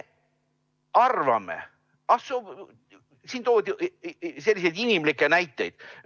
Siin toodi mitu inimlikku näidet.